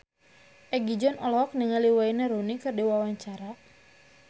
Egi John olohok ningali Wayne Rooney keur diwawancara